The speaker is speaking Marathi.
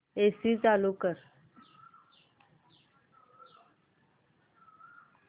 एसी चालू कर